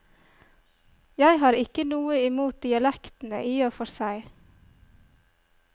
Jeg har ikke noe imot dialektene i og for seg.